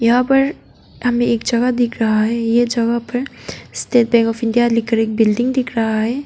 यहाँ पर हमें एक जगह दिख रहा है ये जगह पर स्टेट बैंक ऑफ इंडिया लिखकर एक बिल्डिंग दिख रहा है।